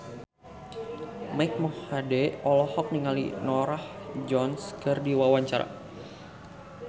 Mike Mohede olohok ningali Norah Jones keur diwawancara